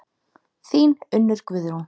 Þín Unnur Guðrún.